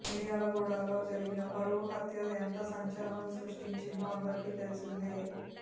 మిర్యాలగూడలో జరిగిన పరువు హత్య ఎంత సంచలనం సృష్టించిందో అందరికి తెలిసిందే